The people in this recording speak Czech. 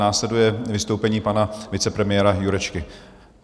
Následuje vystoupení pana vicepremiéra Jurečky.